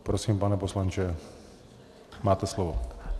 Prosím, pane poslanče, máte slovo.